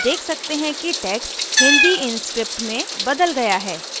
आप देख सकते हैं कि text hindi inscript में बदल गया है